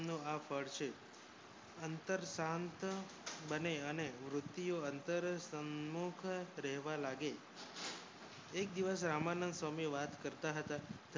નુ આફડ છે અંતર શાંત બને અને વૃધ્યો અંતર સમુખ રેવા લાગે એક દિવસ રામાનંદ સ્વામી વાત કરતા હતા